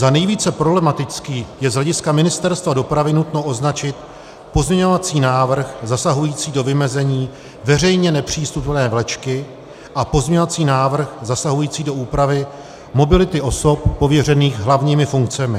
Za nejvíce problematický je z hlediska Ministerstva dopravy nutno označit pozměňovací návrh zasahující do vymezení veřejně nepřístupné vlečky a pozměňovací návrh zasahující do úpravy mobility osob pověřených hlavními funkcemi.